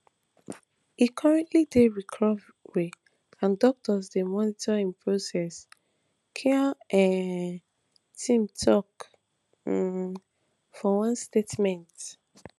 e currently dey recovery and doctors dey monitor im progress khan um team tok um for one statement